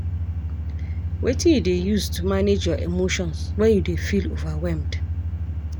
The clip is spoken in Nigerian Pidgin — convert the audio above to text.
Wetin you dey use to manage your emotions when you dey feel overwhelmed?